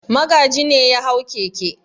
Magaji ne ya hau keke.